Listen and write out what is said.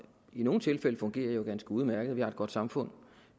i nogle tilfælde fungerer ganske udmærket og vi har et godt samfund